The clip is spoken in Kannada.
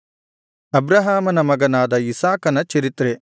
ಅಬ್ರಹಾಮನ ಮಗನಾದ ಇಸಾಕನ ಚರಿತ್ರೆ